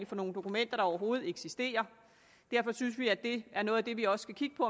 for nogle dokumenter der overhovedet eksisterer derfor synes vi at det er noget af det vi også skal kigge på